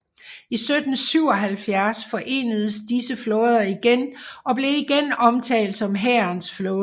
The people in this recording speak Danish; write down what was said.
I 1777 forenedes disse flåder igen og blev igen omtalt som hærens flåde